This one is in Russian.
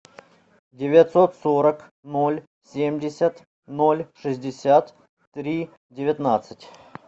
девятьсот сорок ноль семьдесят ноль шестьдесят три девятнадцать